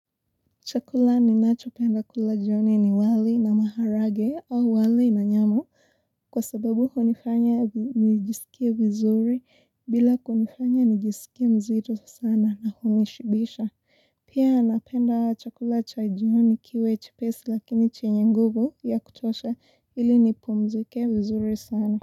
Chakula ninachopenda kula jioni ni wali na maharage au wali na nyama. Kwa sababu hunifanya nijisikie vizuri bila kunifanya nijisikie mzito sana na hunishibisha. Pia napenda chakula cha jioni kiwe chepesi lakini chenye nguvu ya kutosha ili nipumzike vizuri sana.